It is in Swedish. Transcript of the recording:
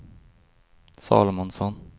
Salomonsson